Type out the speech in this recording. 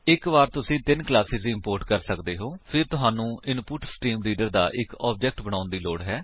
ਇੱਕ ਵਾਰ ਤੁਸੀ ਤਿੰਨ ਕਲਾਸੇਸ ਇੰਪੋਰਟ ਕਰ ਲੈਂਦੇ ਹੋ ਫਿਰ ਤੁਹਾਨੂੰ ਇਨਪੁਟਸਟ੍ਰੀਮਰੀਡਰ ਦਾ ਇੱਕ ਆਬਜੇਕਟ ਬਣਾਉਣ ਦੀ ਲੋੜ ਹੈ